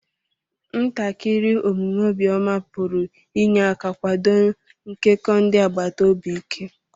ntakiri omume obiọma pụrụ inye aka kwado nkekọ ndị agbata obi ike.